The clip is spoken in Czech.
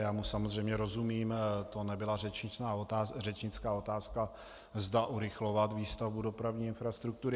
Já mu samozřejmě rozumím, to nebyla řečnická otázka, zda urychlovat výstavbu dopravní infrastruktury.